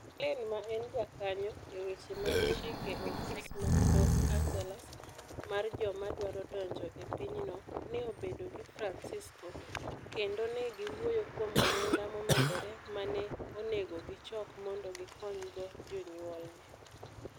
Mark Lane, ma en jakony e weche mag chike e ofis ma Los Angeles mar joma dwaro donjo e pinyno, ne obedo gi Francisco, kendo ne giwuoyo kuom omenda momedore ma ne onego gichok mondo gikonygo jonyuolne.